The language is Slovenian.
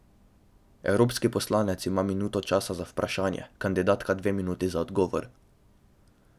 Evropski poslanec ima minuto časa za vprašanje, kandidatka dve minuti za odgovor.